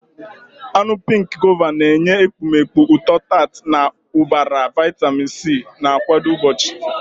Anụ pink Guava na-enye ekpomeekpo ụtọ-tart na ụbara vitamin C, na-akwado mgbochi.